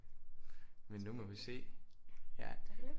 Men nu må vi se